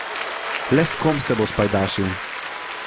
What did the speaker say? Le s kom se bo spajdašil?